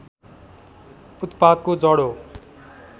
उत्पातको जड हो